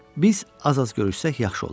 biz az-az görüşsək yaxşı olar.